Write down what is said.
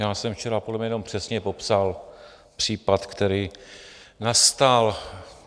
Já jsem včera podle mě jenom přesně popsal případ, který nastal.